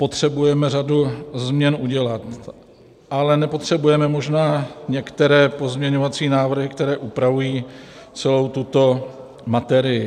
Potřebujeme řadu změn udělat, ale nepotřebujeme možná některé pozměňovacími návrhy, které upravují celou tuto materii.